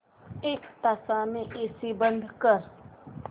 एक तासाने एसी बंद कर